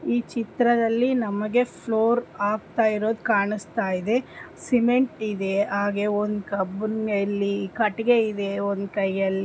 ದಲ್ಲಿ ನಮಗೆ flow of heroes ಕಾಣಿಸ್ತಾ ಇದೆ. ಸಿಮೆಂಟ್ ಇದೆ. ಹಾಗೆ ಒಂದು ಬೌಲ್‌ನಲ್ಲಿ ಕಟ್ಟಡ ಇದೆ. ಒಂದು ಕೈಯಲ್ಲಿ ಇದೆ .